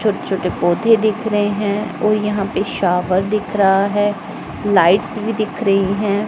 छोटे छोटे पौधे दिख रहे हैं और यहां पे शावर दिख रहा है लाइट्स भी दिख रही हैं।